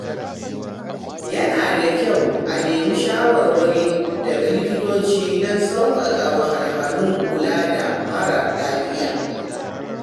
Yana da kyau a nemi shawarwari daga likitoci don sauƙaƙa wahalhalun kula da mara lafiya.